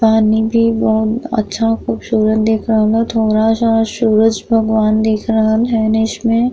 पानी भी बोहत अच्छा खूबसूरत देख रहल बा थोड़ा सा सूरज भगवान दिख रहल है ने इसमें --